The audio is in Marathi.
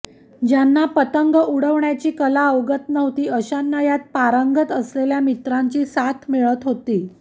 ज्यांना पतंग उडविण्याची कला अवगत नव्हती अशांना यात पारंगत असलेल्या मित्रांची साथ मिळत होती